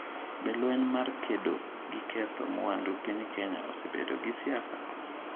Be lweny mar kedo gi ketho mwandu piny Kenya osebedo gi siasa?